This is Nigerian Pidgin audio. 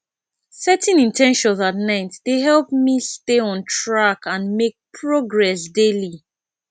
setting in ten tions at night dey help me stay on track and make progress daily